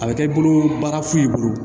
A bɛ kɛ i bolo baarafu bolo